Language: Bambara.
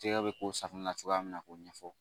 Tigɛ bɛ k'o safunɛ cogoya min na k'o ɲɛfɔ